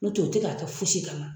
N'u tɛ u tɛ k'a kɛ fosi kama.